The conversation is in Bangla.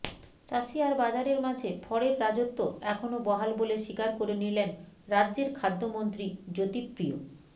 চাষি আর বাজারের মাঝে ফড়ের রাজত্ব এখনও বহাল বলে স্বীকার করে নিলেন রাজ্যের খাদ্যমন্ত্রী জ্যোতিপ্রিয়